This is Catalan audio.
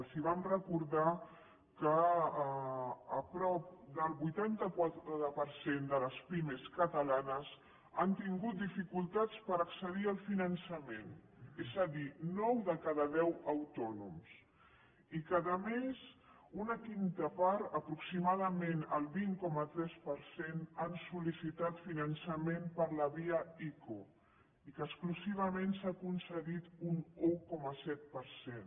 els vam recordar que prop del vuitanta quatre per cent de les pimes catalanes han tingut dificultats per accedir al finançament és a dir nou de cada deu autònoms i que a més una cinquena part aproximadament el vint coma tres per cent han sol·licitat finançament per la via ico i que exclusivament se n’ha concedit un un coma set per cent